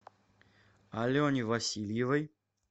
алене васильевой